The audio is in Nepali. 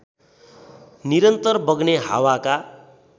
निरन्तर बग्ने हावाका